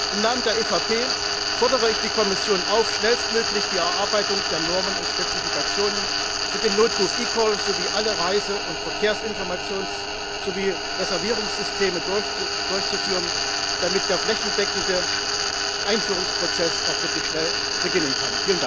Im Namen der EVP Fraktion fordere ich die Kommission auf, schnellstmöglich die Erarbeitung der Normen und Spezifiktionen für den Notruf eCall sowie alle Reise Verkehrsinformations und Reservierungssysteme durchzuführen, damit der flächendeckende Einführungsprozess auch wirklich schnell beginnen kann.